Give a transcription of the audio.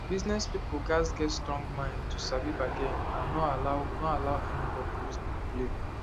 business people gats get strong mind to sabi bargain and no allow no allow anybody use dem play